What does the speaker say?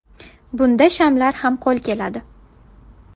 Bunda shamlar ham qo‘l keladi.